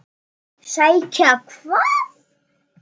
Sækja hvað?